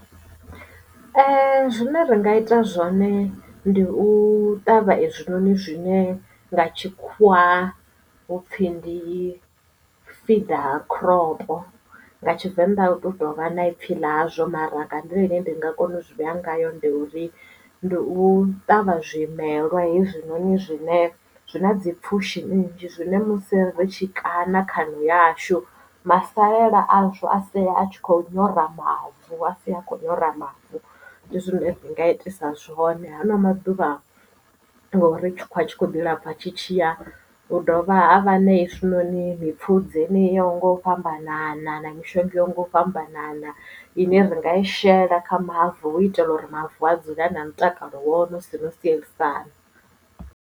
Ee zwine ra nga ita zwone ndi u ṱavha hezwinoni zwine nga tshikhuwa hupfi ndi feeder crop nga tshivenḓa u to tovha na ipfhi ḽa zwo mara nga nḓila ine ndi nga kona u zwi vhea ngayo ndi uri ndi u ṱavha zwimelwa hezwinoni zwine zwi na dzi pfushi nnzhi zwine musi ri tshi kaṋa khaṋo yashu masalela azwo a sea a tshi kho nyora mavu a si a kho nyora mavu ndi zwine ndi nga i itisa zwone ha na maḓuvhano ngori tshikhuwa tshi kho ḓi lapfa tshitshiya hu dovha ha vha na hezwinoni mipfudze yeneyi yo yaho nga u fhambanana na mishonga yo nga u fhambanana ine ri nga i shela kha mavu u itela uri mavu a dzule a na mutakalo wone hu sina no sielisana.